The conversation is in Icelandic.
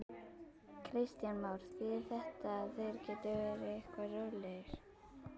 Kristján Már: Þýðir þetta að þeir geti verið eitthvað rólegri?